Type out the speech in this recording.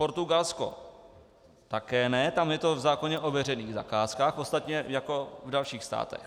Portugalsko také ne, tam je to v zákoně o veřejných zakázkách, ostatně jako v dalších státech.